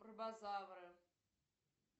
пробозавры